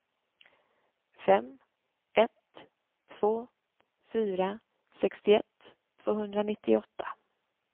fem ett två fyra sextioett tvåhundranittioåtta